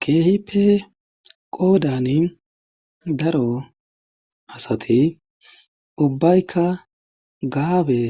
keehipe qoodani daro asati ubbaykka gaabe